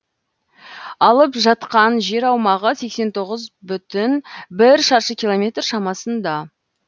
алып жатқан жер аумағы сексен тоғыз бүтін бір шаршы километр шамасында